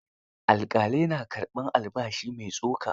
Alƙalai na karɓar albashi mai tsoka.